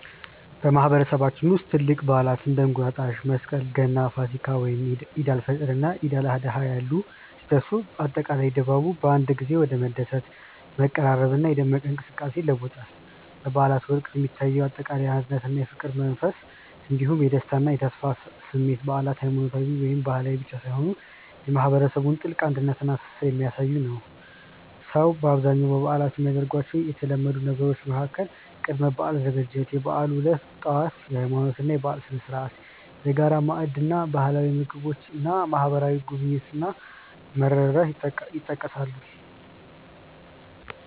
በማህበረሰባችን ውስጥ ትላልቅ በዓላት (እንደ እንቁጣጣሽ፣ መስቀል፣ ገና፣ ፋሲካ፣ ወይም ዒድ አል-ፈጥር እና ዒድ አል-አድሃ ያሉ) ሲደርሱ፣ አጠቃላይ ድባቡ በአንድ ጊዜ ወደ መደሰት፣ መቀራረብና የደመቀ እንቅስቃሴ ይለወጣል። በበዓላት ወቅት የሚታየው አጠቃላይ የአንድነትና የፍቅር መንፈስ እንዲሁም የደስታና የተስፋ ስሜት በዓላት ሃይማኖታዊ ወይም ባህላዊ ብቻ ሳይሆኑ የማህበረሰቡን ጥልቅ አንድነትና ትስስር የሚያሳዩበት ነው። ሰዎች በአብዛኛው በበዓላት የሚያደርጓቸው የተለመዱ ነገሮች መካከል ቅድመ-በዓል ዝግጅት፣ የበዓሉ ዕለት ጠዋት (የሃይማኖትና የባህል ስነ-ስርዓት)፣የጋራ ማዕድ እና ባህላዊ ምግቦች እና ማህበራዊ ጉብኝት እና መረዳዳት ይጠቀሳሉ።